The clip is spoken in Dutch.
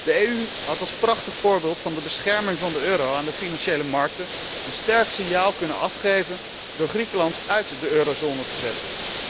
De EU had als prachtig voorbeeld van de bescherming van de euro aan de financiële markten een sterk signaal kunnen geven door Griekenland uit de eurozone te zetten.